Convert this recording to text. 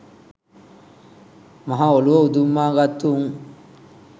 මහ ඔළුව උදුම්මාගත්තු උං.